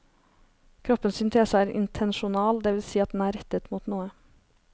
Kroppens syntese er intensjonal, det vil si at den er rettet mot noe.